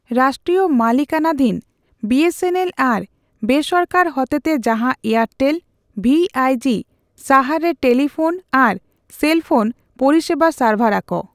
ᱨᱟᱥᱴᱤᱭᱚ ᱢᱟᱞᱤᱠᱟᱱᱟᱫᱷᱤᱱ BSNL ᱟᱨ ᱵᱮᱥᱚᱨᱠᱟᱨ ᱦᱚᱛᱮᱛᱮ ᱡᱟᱦᱟᱸ ᱮᱭᱟᱨᱴᱮᱞ, ᱵᱷᱤᱹᱟᱭ ᱡᱤ ᱥᱟᱦᱟᱨ ᱨᱮ ᱴᱮᱯᱤᱯᱷᱳᱱ ᱟᱨ ᱥᱮᱞ ᱯᱷᱳᱱ ᱯᱚᱥᱮᱵᱟ ᱥᱟᱨᱵᱷᱟᱨ ᱟᱠᱚ ᱾